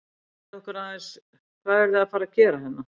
Segðu okkur aðeins, hvað eruð þið að fara að gera hérna?